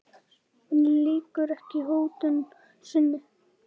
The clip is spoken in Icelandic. En lýkur ekki hótun sinni.